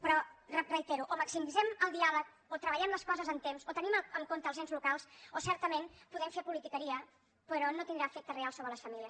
però ho reitero o maximitzem el diàleg o treballem les coses amb temps o tenim en compte els ens locals o certament podem fer politiqueria però no tindrà efectes reals sobre les famílies